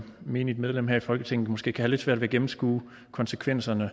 menigt medlem af folketinget måske kan have lidt svært ved at gennemskue konsekvenserne af